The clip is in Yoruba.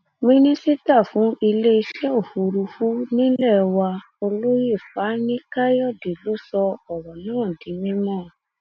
mínísítà fún iléeṣẹ òfurufú nílé wa olóyè fani káyọdé ló sọ ọrọ náà di mímọ